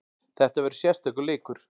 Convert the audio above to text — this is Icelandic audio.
Þetta verður sérstakur leikur.